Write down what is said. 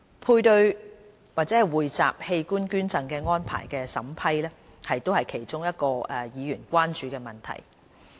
配對或匯集器官捐贈安排的審批是議員其中一個關注的問題。